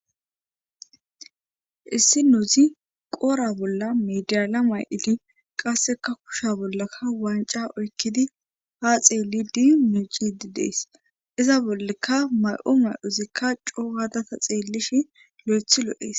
Issi na'azi qodhe bollan medale ma'idi qassekka kushiya bollakka wancca oykidi ha xeelidi miicide de'ees. iza bollikka ma'o ma'ozikka ca gada xeelishin loythi lo'ees.